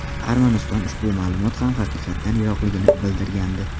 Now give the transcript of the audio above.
Armaniston ushbu ma’lumot ham haqiqatdan yiroqligini bildirgandi.